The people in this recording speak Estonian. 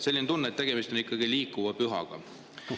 Selline tunne, et tegemist on ikkagi liikuva pühaga.